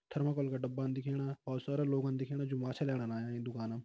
Thermocol का डब्बान दिखेणा और सारा लोगोंन दिखणा जो माछा लेणान आयां ये दुकानम।